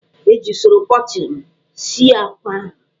E ji usoro pochin sie akwa ahụ.